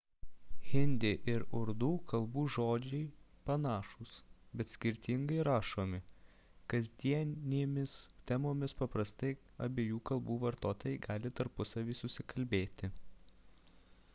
hindi ir urdų kalbų žodžiai panašūs bet skirtingai rašomi kasdienėmis temomis paprastai abiejų kalbų vartotojai gali tarpusavyje susikalbėti